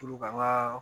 Tulu ka n ka